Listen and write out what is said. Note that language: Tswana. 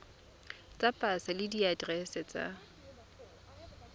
tsa pasa le diaterese tsa